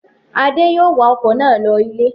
Adé yòó wa ọkọ̀ náà lọ ilé